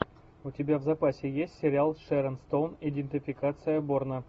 у тебя в запасе есть сериал с шерон стоун идентификация борна